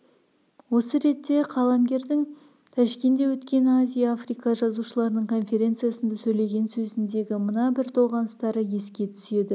осы ретте қаламгердің жылы тәшкенде өткен азия-африка жазушыларының конференциясында сөйлеген сөзіндегі мына бір толғаныстары еске түседі